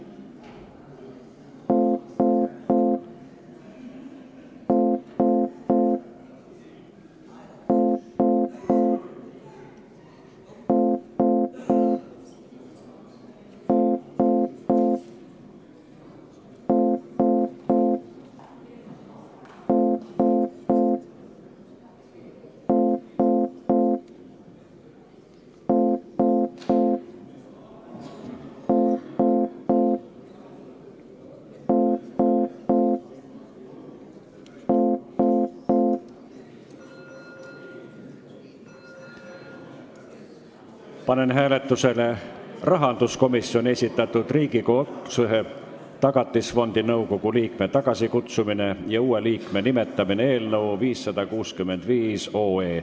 Panen hääletusele rahanduskomisjoni esitatud Riigikogu otsuse "Tagatisfondi nõukogu liikme tagasikutsumine ja uue liikme nimetamine" eelnõu 565.